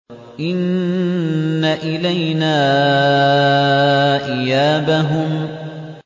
إِنَّ إِلَيْنَا إِيَابَهُمْ